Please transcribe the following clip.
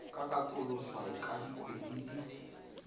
ka katoloswa ka dikgwedi di